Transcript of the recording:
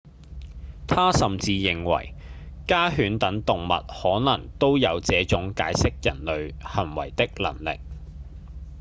他甚至認為家犬等動物可能都有這種解釋人類行為的能力